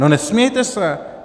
No nesmějte se!